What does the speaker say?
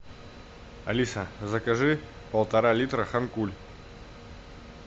алиса закажи полтора литра хан куль